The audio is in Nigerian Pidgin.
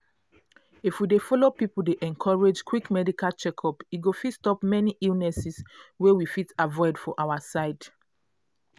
if we det follow people dey encourage quick medical check-up e go fit stop many illnesses wey we fit avoid for our side.